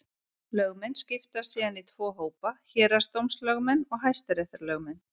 Lögmenn skiptast síðan í tvo hópa: Héraðsdómslögmenn og hæstaréttarlögmenn.